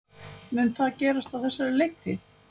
Mun það gerast á þessari leiktíð?